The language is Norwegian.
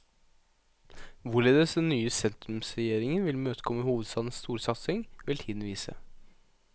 Hvorledes den nye sentrumsregjeringen vil imøtekomme hovedstadens storsatsing, vil tiden vise.